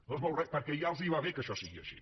no es mou res perquè ja els va bé que això sigui així